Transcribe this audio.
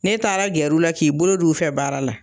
Ne taara gɛr'u la k'i bolo d'u fɛ baara la